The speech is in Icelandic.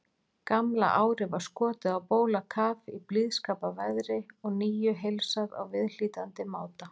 Gamla árið var skotið á bólakaf í blíðskaparveðri og nýju heilsað á viðhlítandi máta.